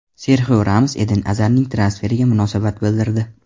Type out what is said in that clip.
Serxio Ramos Eden Azar transferiga munosabat bildirdi.